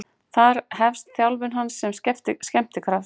Þar hefst þjálfun hans sem skemmtikrafts.